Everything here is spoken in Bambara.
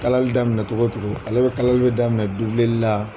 Kalali daminɛ cogo cogo ale bɛ kalali bɛ daminɛ dubileli la.